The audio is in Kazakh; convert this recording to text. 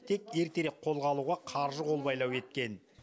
тек ертерек қолға алуға қаржы қолбайлау еткен